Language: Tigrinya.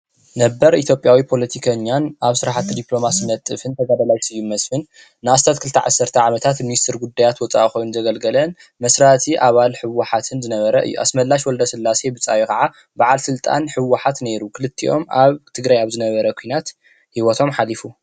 ነበር ኢትዮጲያዊ ፖለቲከኛን ኣብ ስራሕቲ ዲፕሎማሲ ዝነጥፍ ተጋዳላይ ስዩም መስፍን ንኣስታት ክልተ ዓሰርተ ዓመታት ሚንስተር ጉዳያት ወፃኢ ኮይኑ ዘገልገለን መስራቲ ኣባል ህወሓትን ዝነበረ እዩ። ኣስመላሽ ወልደስላሰ ብፃዩ ካዓ በዓል ስልጣን ህወሓት ነይሩ። ክልቲኦም ኣብ ትግራይ ኣብ ዝነበረ ኩናት ሂወቶም ሓሊፉ።